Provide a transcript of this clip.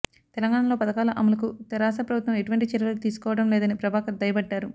తెలంగాణలో పధకాల అమలుకు తెరాస ప్రభుత్వం ఎటువంటి చర్యలు తీసుకోవడం లేదని ప్రభాకర్ దుయ్యబట్టారు